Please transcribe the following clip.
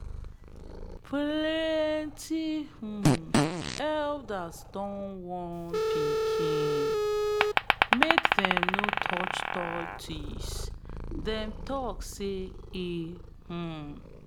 we no dey kpai pythons for near holy river side um river side um because them um be spiritual protectors. um